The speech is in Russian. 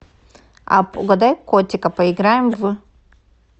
апп угадай котика поиграем в